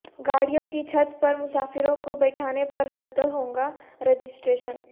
گاڑیو ں کی چھت پرمسافرو ں کو بیٹھانے پر رد ہو گا رجسٹریشن